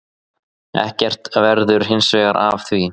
Ekkert verður hinsvegar af því.